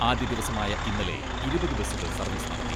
ആദ്യദിവസമായ ഇന്നലെ ഇരുപത് ബസ്സുകൾ സർവീസ് നടത്തി.